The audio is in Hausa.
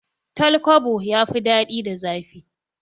Tal kwabo ya fi dadi da zafi